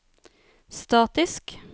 statisk